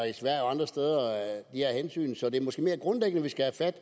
i her hensyn så det er måske mere grundlæggende vi skal tage